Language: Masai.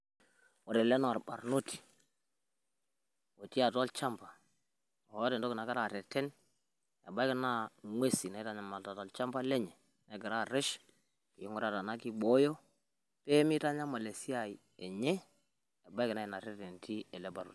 Ore ele naa olbarnoti otii atua olchamba oota entoki nagira arreten ebaiki naa ng'uesin naitanyamalita tolchamba lenye negira arresh neiguraa enaa kibooyo pee mitanyamal esiai enye. Ebaiki naa ina rreten etii ele barnoti.